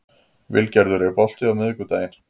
Vilgerður, er bolti á miðvikudaginn?